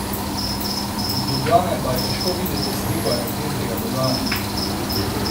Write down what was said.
Iz Ljubljane pa je težko videti sliko energetskega dogajanja.